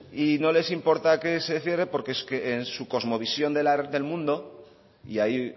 y no les importa que se cierre porque es que en su cosmovisión del mundo y ahí